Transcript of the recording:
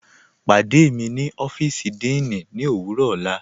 Pàdé mí ni ọ́fíìsì díìní ní owurọ ọla.